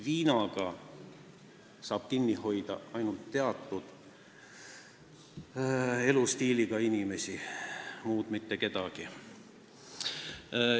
Viinaga saab kinni hoida ainult teatud elustiiliga inimesi, muid mitte kedagi.